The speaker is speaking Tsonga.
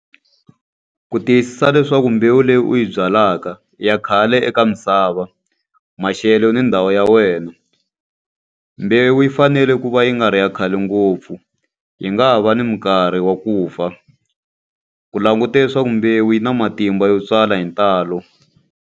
Ku tiyisisa leswaku mbewu leyi u yi byalaka ya khale eka misava, maxelo, ni ndhawu ya wena. Mbewu yi fanele ku va yi nga ri ya khale ngopfu, yi nga ha va ni minkarhi wa ku fa. Ku languta leswaku mbewu yi na matimba yo tswala hi ntalo.